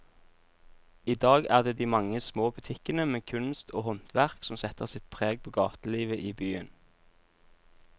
I dag er det de mange små butikkene med kunst og håndverk som setter sitt preg på gatelivet i byen.